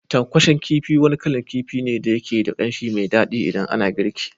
Tankwashen kifi wani kalan kifi ne da yake da kanshi mai dadi idan ana girki.